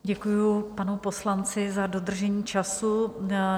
Děkuji panu poslanci za dodržení času.